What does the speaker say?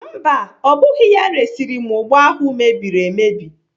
Mba, ọ bụghị ya resịrị m ụgba ahụ mebiri emebi.